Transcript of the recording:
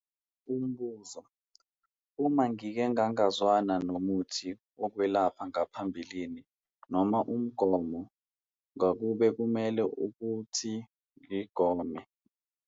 Umbuzo- Uma ngike ngangazwana nomuthi wokwelapha ngaphambilini noma umgomo ngakube kumele ukuthi ngigome?